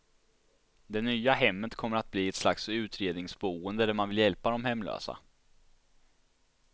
Det nya hemmet kommer att bli ett slags utredningsboende där man vill hjälpa de hemlösa.